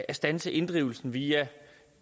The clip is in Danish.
at standse inddrivelsen via